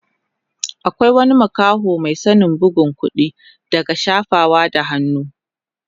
Akwai wani makaho mai sanin bugun kuɗi daga shafawa da hannu.